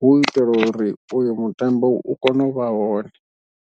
hu itela uri uyu mutambo u kone u vha hone.